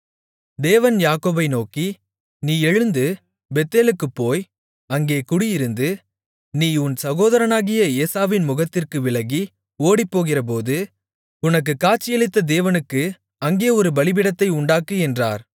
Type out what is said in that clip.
தேவன் யாக்கோபை நோக்கி நீ எழுந்து பெத்தேலுக்குப் போய் அங்கே குடியிருந்து நீ உன் சகோதரனாகிய ஏசாவின் முகத்திற்கு விலகி ஓடிப்போகிறபோது உனக்குக் காட்சியளித்த தேவனுக்கு அங்கே ஒரு பலிபீடத்தை உண்டாக்கு என்றார்